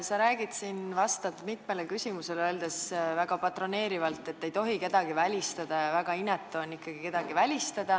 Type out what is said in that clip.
Sa oled siin mitmele küsimusele vastates öelnud väga patroneerivalt, et ei tohi kedagi välistada, see on väga inetu.